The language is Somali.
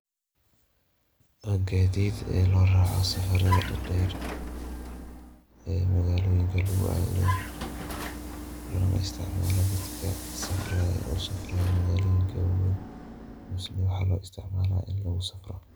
Waa gaadid ee loo raaco safarada dadeer magaaloyinka lugu aado. Lona istacmaalo dadka safraayo u safraayo magaaloyinka waaweyn, mise waxaa loo istacmaala in lugusafro.